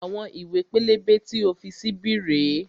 Àwọn ìwé pélébé tí o fi sí bí rèé